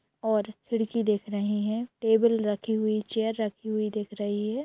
और खिड़की देख रहे हैं। टेबल रखी हुई चेयर रखी हुई दिख रही है।